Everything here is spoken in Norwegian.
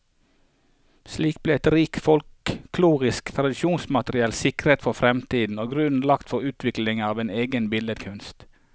Slik ble et rikt folkloristisk tradisjonsmateriale sikret for fremtiden, og grunnen lagt for utviklingen av en egen billedkunst.